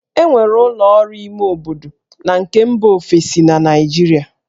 E nwere ụlọ ọrụ ime obodo na nke mba ofesi na Naịjirịa